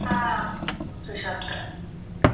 हां, पोहचू शकतात.